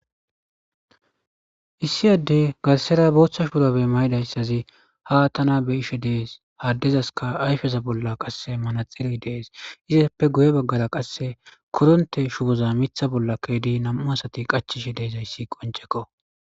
Issi adde garsera booththa shuuurabe mayidayssazi ha tana beishe dees haaddezaska ayfeza bolla qasse manaxiri dees izappe guye baggara qasse koronte shuboza mitha bolla keydi nam'u asati qachishe deezayssi qoncekko.